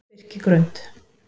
Birkigrund